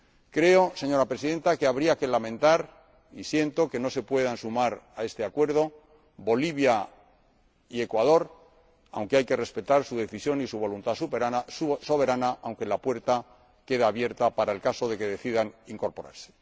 Creo, señora Presidenta, que habría que lamentar y siento que no se puedan sumar a este Acuerdo Bolivia y el Ecuador, aunque hay que respetar su decisión y su voluntad soberana, pero la puerta queda abierta en caso de que decidan incorporarse.